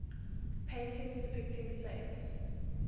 paintings depicting saints